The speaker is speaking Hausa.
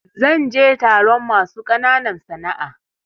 Zan je taron masu ƙananan sana'a.